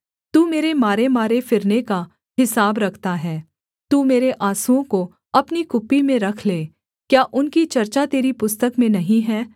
तू मेरे मारेमारे फिरने का हिसाब रखता है तू मेरे आँसुओं को अपनी कुप्पी में रख ले क्या उनकी चर्चा तेरी पुस्तक में नहीं है